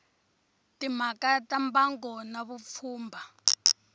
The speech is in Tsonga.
timhaka ta mbango na vupfhumba